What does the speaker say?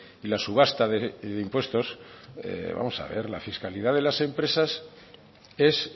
y la subasta de impuestos vamos a ver la fiscalidad de las empresas es